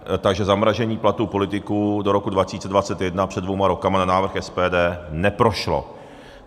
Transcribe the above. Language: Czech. Takže zamrazení platů politiků do roku 2021 před dvěma roky na návrh SPD neprošlo.